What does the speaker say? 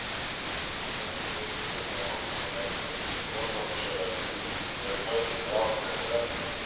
Öll þjóðfélög hafa ákveðnar reglur og brot á þessum reglum eru kölluð ákveðnum nöfnum.